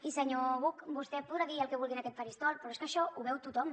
i senyor buch vostè podrà dir el que vulgui en aquest faristol però és que això ho veu tothom